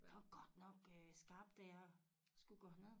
Der var godt nok øh skarpt da jeg skulle gå herned